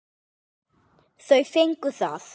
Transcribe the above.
Þau fengu það.